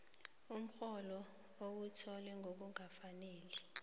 umrholo owuthole ngokungakafaneli